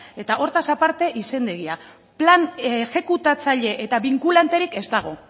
eta hortaz aparte izendegia plan exekutatzaile eta binkulanterik ez dago